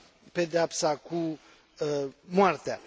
pedeapsa cu moartea